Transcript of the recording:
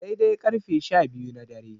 A dai-dai ƙarfe sha biyu na dare.